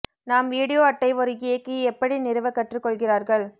நாம் வீடியோ அட்டை ஒரு இயக்கி எப்படி நிறுவ கற்றுக் கொள்கிறார்கள்